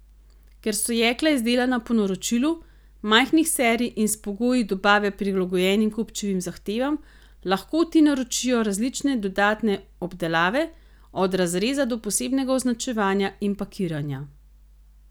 Ker so jekla izdelana po naročilu, majhnih serij in s pogoji dobave prilagojenimi kupčevim zahtevam, lahko ti naročijo različne dodatne obdelave, od razreza do posebnega označevanja in pakiranja.